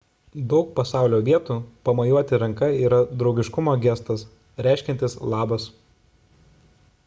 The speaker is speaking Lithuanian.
daug pasaulio vietų pamojuoti ranka yra draugiškumo gestas reiškiantis labas